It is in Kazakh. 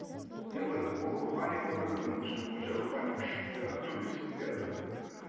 енді былай ол рухани болу керек менің түсінігім бойынша рухани күш жаңағы төбелес иә былай айтқанда